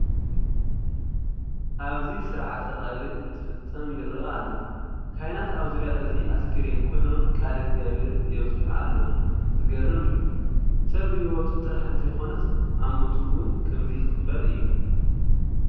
ኣብዚ ስርዓተ ቀብሪ እንትፍፀም ይርአ ኣሎ፡፡ ካህናት ኣብ ዙርያ እዚ ኣስከሬን ኮይኖም ቃለ እግዚኣብሄር የብፅሑ ኣለዉ፡፡ ዝገርም እዩ፡፡ ሰብ ብሂወቱ ጥራሕ እንተይኮነስ ኣብ ሞቱ እውን ከምዚ ይኸብር እዩ፡፡